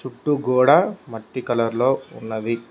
గోడ మట్టి కలర్ లో ఉన్నది.